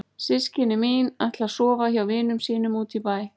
Systkini mín ætla að sofa hjá vinum sínum úti í bæ.